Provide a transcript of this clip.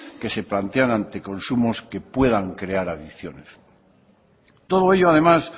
que se plantean ante consumos que puedan crear adicción todo ello además